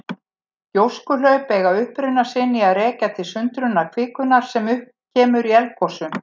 Gjóskuhlaup eiga uppruna sinn að rekja til sundrunar kvikunnar sem upp kemur í eldgosum.